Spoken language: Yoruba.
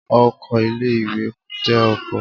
Ọkọ̀ ilé ìwé jẹ́ ọkọ̀.